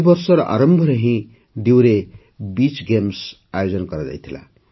ଏହି ବର୍ଷର ଆରମ୍ଭରେ ହିଁ ଡିୟୁରେ ବିଚ୍ ଗେମ୍ସ ଆୟୋଜନ କରାଯାଇଥିଲା